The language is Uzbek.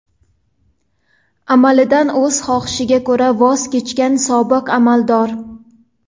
amalidan o‘z xohishiga ko‘ra voz kechgan sobiq amaldor.